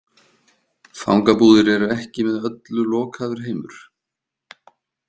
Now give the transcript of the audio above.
Fangabúðir eru ekki með öllu lokaður heimur.